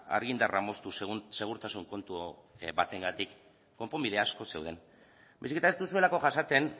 argindarra moztu segurtasun kontu batengatik konponbide asko zeuden baizik eta ez duzuelako jasaten